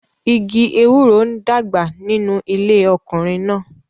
Igi ewuroń dàgbà nínú ilé ọkùnrin náà.